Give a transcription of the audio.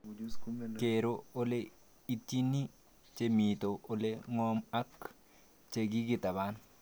Kero ole itchini che mito ole ng'om ak che kikitaban